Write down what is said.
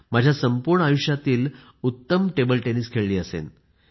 माझ्या संपूर्ण आयुष्यातील उत्तम टेबल टेनिस खेळली असेल